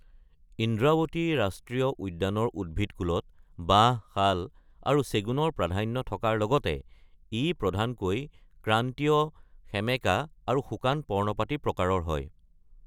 ইন্দ্ৰাৱতী ৰাষ্ট্ৰীয় উদ্যানৰ উদ্ভিদকূলত বাঁহ, শাল আৰু চেগুনৰ প্ৰাধান্য থকাৰ লগতে ই প্ৰধানকৈ ক্ৰান্তীয় সেমেকা আৰু শুকান পৰ্ণপাতী প্ৰকাৰৰ হয়।